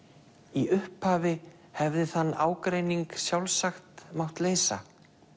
í upphafi hefði þann ágreining sjálfsagt mátt leysa